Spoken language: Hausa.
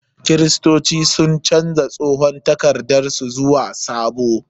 Kiristoci sun canja tsohon takardar su zuwa sabo.